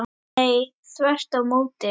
Nei, þvert á móti.